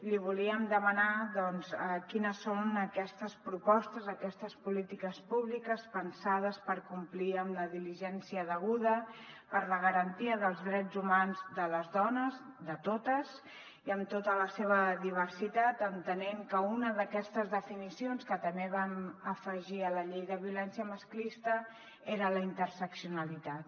li volíem demanar doncs quines són aquestes propostes aquestes polítiques públiques pensades per complir amb la diligència deguda per la garantia dels drets humans de les dones de totes i amb tota la seva diversitat entenent que una d’aquestes definicions que també vam afegir a la llei de violència masclista era la internacionalitat